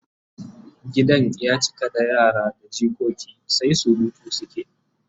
Gidan ya cika da yara da jikoki sai surutu suke